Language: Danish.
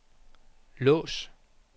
lås